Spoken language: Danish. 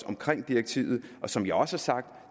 omkring direktivet som jeg også har sagt